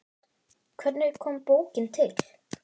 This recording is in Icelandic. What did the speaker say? Hvernig kom bókin til?